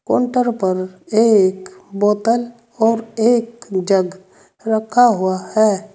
Counter पर एक बोतल और एक जग रखा हुआ है।